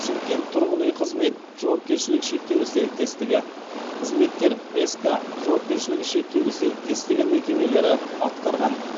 шымкент тұрғын үй қызмет жауапкершілігі шектеулі серіктестігі қызметкер ск жауапкершілігі шектеулі серіктестігі мекемелері атқарған